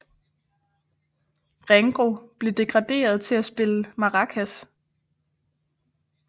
Ringo blev degraderet til at spille maracas